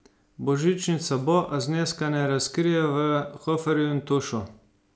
Božičnica bo, a zneska ne razkrijejo v Hoferju in Tušu.